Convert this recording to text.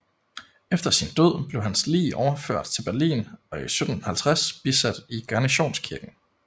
Efter sin død blev hans lig overført til Berlin og i 1750 bisat i Garnisonskirken